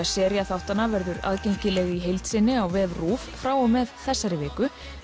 sería þáttanna verður aðgengileg í heild sinni á vef RÚV frá og með þessari viku